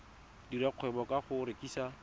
dira kgwebo ka go rekisa